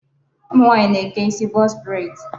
Ụmụ nwaanyị na-eke isi box braid.